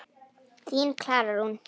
Þín, Klara Rún.